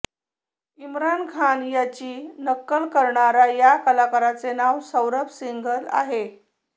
इम्रान खान यांची नक्कल करणारा या कलाकाराचे नाव सौरभ सिंघल आहे